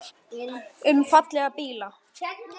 Um fallega bíla.